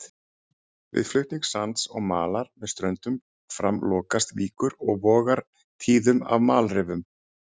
Við flutning sands og malar með ströndum fram lokast víkur og vogar tíðum af malarrifum.